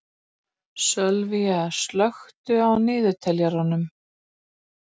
Sölvína, slökktu á niðurteljaranum.